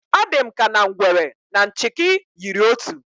Ọ dị m ka na ngwere na nchịkị yiri otu